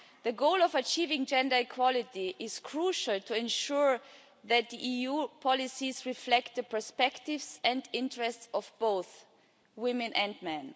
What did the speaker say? The goal of achieving gender equality is crucial to ensuring that the EU policies reflect the perspectives and interests of both women and men.